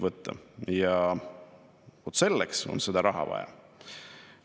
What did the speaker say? Vaat selleks on seda raha vaja.